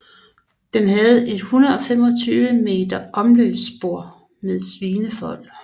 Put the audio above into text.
Den havde et 125 meter langt omløbsspor med svinefold